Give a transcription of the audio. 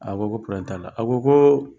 A ko ko t'a la a ko ko